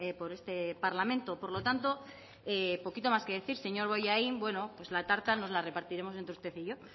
por este parlamento por lo tanto poquito más que decir señor bollain bueno pues la tarta nos la repartiremos entre usted y yo